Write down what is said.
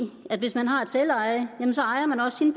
at hvis man har et selveje jamen så ejer man også